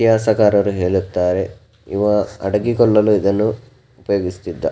ಇತಿಹಾಸಗಾರರು ಹೇಳುತ್ತಾರೆ ಇವ ಅಡಗಿಕೊಳ್ಳಲು ಇದನ್ನು ತೆಗೆಸಿದ್ದ.